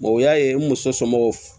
o y'a ye n muso somɔgɔw